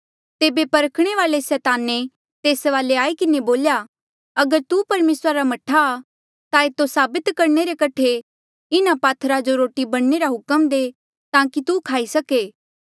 तेबे परखणे वाल्ऐ सैताने तेस वाले आई किन्हें बोल्या अगर तू परमेसरा रा मह्ठा आ ता एतो साबित करणे रे कठे इन्हा पात्थरा जो रोटी बणने रा हुक्म दे ताकि तू खाई सके